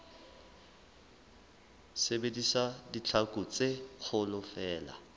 sebedisa ditlhaku tse kgolo feela